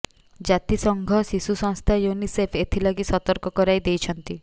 ଜାତି ସଂଘ ଶିଶୁ ସଂସ୍ଥା ୟୁନିସେଫ ଏଥିଲାଗି ସତର୍କ କରାଇଦେଇଛନ୍ତି